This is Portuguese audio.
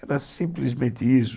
Era simplesmente isso.